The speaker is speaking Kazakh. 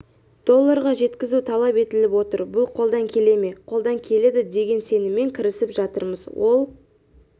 долларға жеткізу талап етіліп отыр бұл қолдан келе ме қолдан келеді деген сеніммен кірісіп жатырмыз ол